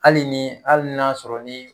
Hali ni hali n'a sɔrɔ ni